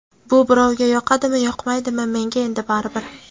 Bu birovga yoqadimi-yoqmaydimi, menga endi baribir.